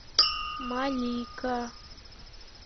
малика